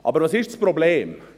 Aber was ist das Problem?